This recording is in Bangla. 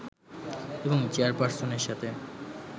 এবং চেয়ারপার্সনের সাথে